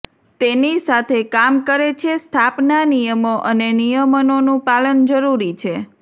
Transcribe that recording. તેની સાથે કામ કરે છે સ્થાપના નિયમો અને નિયમનોનું પાલન જરૂરી છે